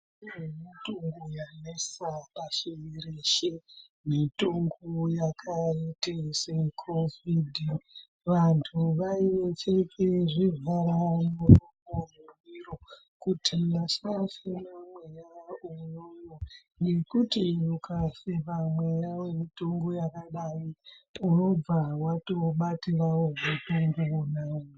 Kune mitombo yanesa pasi rinoreshe mitombo yakaita secovid vantu vaipfeka zvivhara muromo nezvivhara miro kuti vasafemera vamweni nekuti ukafemera mweya yakadaro unobva watobatirawo utenda hona iwawo.